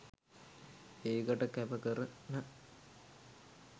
ඒකට කැපකරන